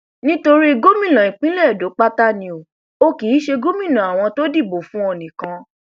nítorí gómìnà ìpínlẹ edo pátá ni o ò kì í ṣe gómìnà àwọn tó dìbò fún ọ nìkan